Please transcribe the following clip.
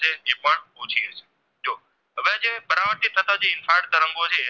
પરાવર્તિત થતા જે infrared તરંગો છે